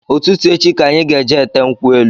Ụtụtụ echi ka anyị ga-eje ete nkwu elu